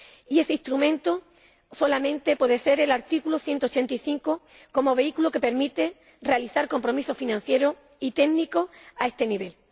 Y ese instrumento solamente puede ser el artículo 185 como vehículo que permite realizar compromisos financieros y técnicos a este nivel.